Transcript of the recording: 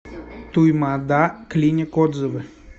туймаада клиник отзывы